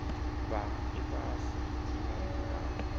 fhaa ifhasi i na mulalo